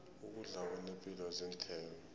ukudla okunepilo zinthelo